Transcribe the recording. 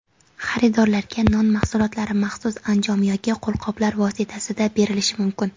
Xaridorlarga non mahsulotlari maxsus anjom yoki qo‘lqoplar vositasida berilishi mumkin.